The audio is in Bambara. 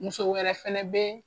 Muso wɛrɛ fɛnɛ bɛ